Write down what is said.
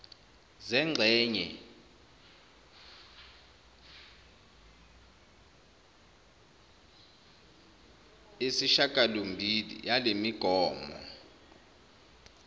zengxenye viii yalemigomo